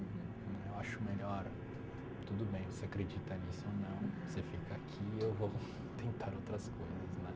Uhum. Né eu acho melhor, tudo bem, você acredita nisso ou não, você fica aqui, eu vou tentar outras coisas, né?